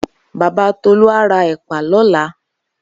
Baba Tolu a ra epa lola.